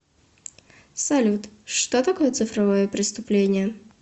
салют что такое цифровое преступление